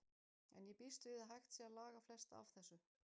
En ég býst við að hægt sé að laga flest af þessu.